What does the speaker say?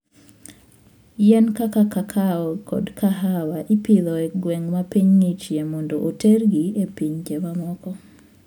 Yien kaka kakao kod kahawa ipidho e gwenge ma piny ng'ichie mondo otergi e pinje mamoko.